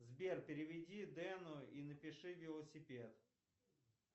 сбер переведи дену и напиши велосипед